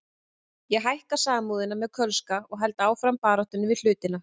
Ég hækka Samúðina með Kölska og held áfram baráttunni við hlutina.